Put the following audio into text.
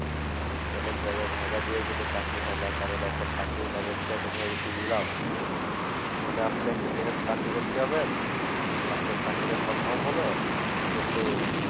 অনেক জায়গায় ভাইবা দিয়েও কোনো চাকরি হয়না কারণ এখন চাকরির বাজারটা এখন হয়ে গেছে নিলাম মানে আপনি একটা জায়গাতে চাকরি করতে যাবেন আপনার চাকরিটা confirm হলো কিন্তু